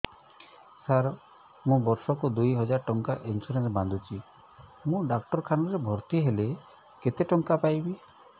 ସାର ମୁ ବର୍ଷ କୁ ଦୁଇ ହଜାର ଟଙ୍କା ଇନ୍ସୁରେନ୍ସ ବାନ୍ଧୁଛି ମୁ ଡାକ୍ତରଖାନା ରେ ଭର୍ତ୍ତିହେଲେ କେତେଟଙ୍କା ପାଇବି